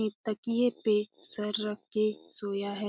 एक तकिए पे सर रख के सोया है।